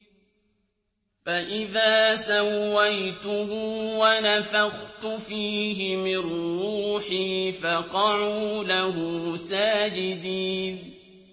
فَإِذَا سَوَّيْتُهُ وَنَفَخْتُ فِيهِ مِن رُّوحِي فَقَعُوا لَهُ سَاجِدِينَ